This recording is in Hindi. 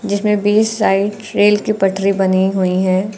जिसमें बीच साइड रेल की पटरी बनी हुई है।